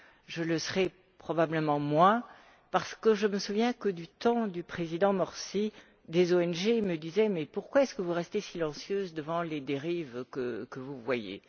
Je le serai probablement moins, parce que je me souviens que du temps du président Morsi, des ONG me disaient Pourquoi restez vous silencieuse devant les dérives que vous voyez?